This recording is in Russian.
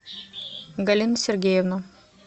галина сергеевна